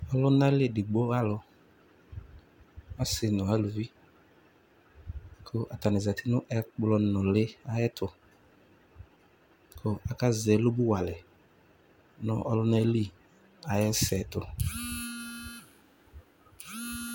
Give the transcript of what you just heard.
Ɔlʋnali edigbo alʋ Ɔsi nʋ aluvi kʋ atani zati nʋ ɛkplɔ nʋli ayɛtʋ kʋ aka zɛ ɛlʋbuwalɛ n'ɔlun'ɛli ayɛsɛtʋ